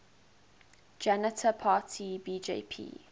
janata party bjp